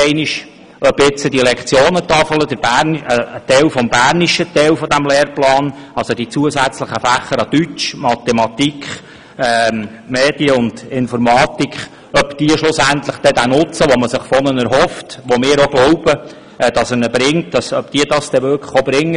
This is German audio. Ob die neue Lektionentafel im bernischen Teil dieses Lehrplans – also die zusätzlichen Lektionen in den Fächern Mathematik, Deutsch, Medien und Informatik – tatsächlich den Nutzen erbringen, den man sich erhofft und woran wir auch glauben, das muss man später kontrollieren.